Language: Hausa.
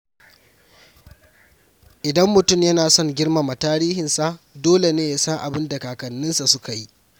Idan mutum yana son girmama tarihinsa, dole ne ya san abin da kakanninsa suka yi.